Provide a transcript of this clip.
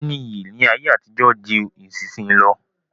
Owó ní iyì ní ayé àtijó ju ìsinsìnyí lọ.